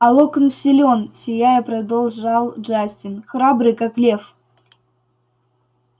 а локонс силён сияя продолжал джастин храбрый как лев